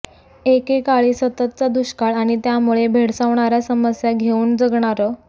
एकेकाळी सततचा दुष्काळ आणि त्यामुळे भेडसावणाऱ्या समस्या घेऊन जगणारं